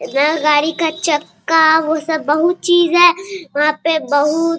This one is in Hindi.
नया गाड़ी का चक्का वो सब बहुत चीज है वहाँ पर बहुत --